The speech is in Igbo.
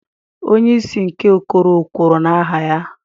Onye isi nke okoro kwuru n'aha anyị.